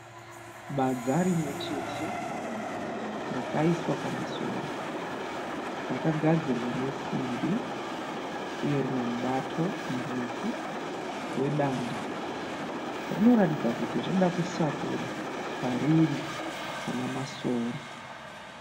Badza rimwe chete rakaiswa pamasora. Rakagadzirwa nesimbi uye rine mubato murefu wedanda. Rinoratidza kuti rinoda kusakura pariri pana masora.